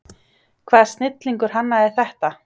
Hvaða snillingur hannaði þetta?